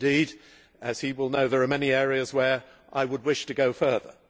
indeed, as he will know, there are many areas where I would wish to go further.